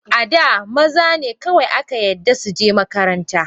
Ada, mazane kawai aka yadda suje makaranta.